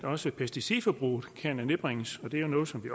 også pesticidforbruget kan nedbringes det er jo noget som vi